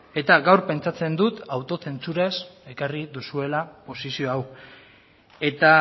eta gaur pentsatzen dut zentsuraz ekarri duzuela posizio hau eta